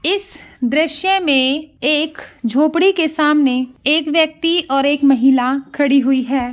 इस दृश्य में एक झोपड़ी के सामने एक व्यक्ति और एक महिला खड़ी हुई है।